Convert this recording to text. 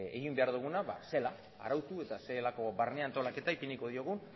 egin behar duguna zelan arautu eta zer nolako barne antolaketa ipiniko diogun